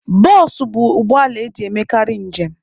Bụsụ bụ ụgbọala eji emekarị njem.